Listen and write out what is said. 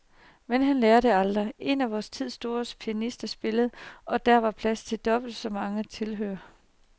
Men han lærer det aldrig. En af vor tids store pianister spillede, og der var plads til dobbelt så mange tilhørere.